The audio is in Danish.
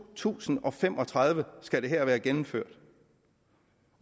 tusind og fem og tredive skal det her være gennemført